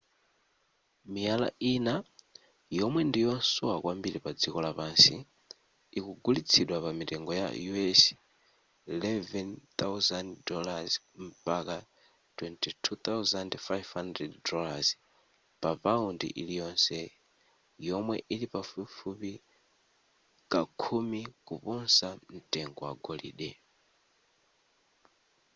miyala ina yomwe ndi yosowa kwambiri pa dziko lapansi ikugulitsidwa pa mitengo ya us $ 11,000 mpaka $ 22,500 papaundi iliyonse yomwe ili pafupifupi kakhumi kuposa mtengo wa golide